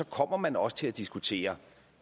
kommer man også til at diskutere